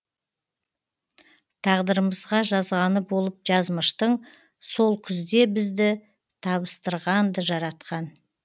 тағдырымызға жазғаны болып жазмыштың сол күзде бізді табыстырғанды жаратқан